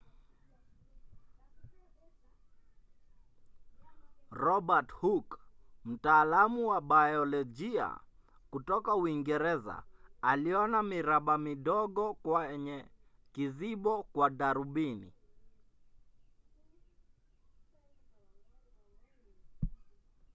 robert hooke mtaalamu wa biolojia kutoka uingereza aliona miraba midogo kwenye kizibo kwa darubini